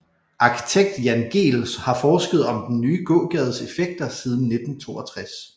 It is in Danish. Arkitekt Jan Gehl har forsket om den nye gågades effekter siden 1962